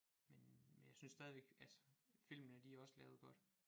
Men men jeg synes stadigvæk altså filmene de også lavet godt